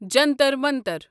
Jantar Mantar